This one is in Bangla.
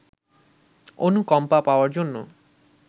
অনুকম্পা পাওয়ার জন্য